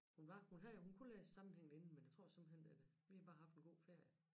Hun var hun havde jo hun kunne læse sammenhængende inden men det tror simpelthen at øh vi har bare haft en god ferie